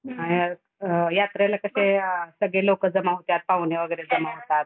अ अ यात्रेला कसे आ सगळे लोक जमा होत्यात पाव्हणे वगैरे जमा होतात.